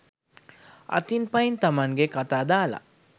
අතින් පයින් තමන්ගේ කතා දාල